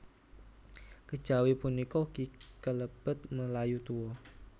Kejawi punika ugi kalebet Melayu Tua